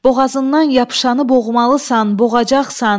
Boğazından yapışanı boğmalısan, boğacaqsan.